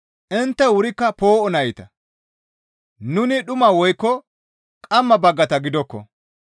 Intte wurikka poo7o nayta; nuni dhuma woykko qamma baggata gidokko.